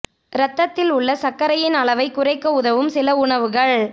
இரத்தத்தில் உள்ள சர்க்கரையின் அளவை குறைக்க உதவும் சில உணவுகள்